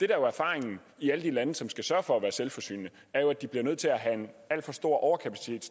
er erfaringen i alle de lande som skal sørge for at være selvforsynende er at de bliver nødt til at have en alt for stor overkapacitet